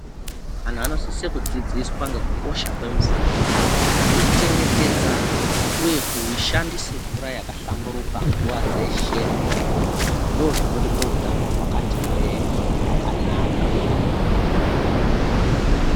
Antu anosiso kudzidziswa ngekukosha kwemvura kuichengetedza uye kushandisa mvura yakahlamburuka nguva dzeshe ndozvinotipa utano hwakati hwee hwakanaka.